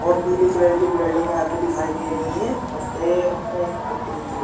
और पीली कलर की बिल्डिंग यहाँ पे दिखाई दे रही है उसपे एक पट्टी लिखी हुई --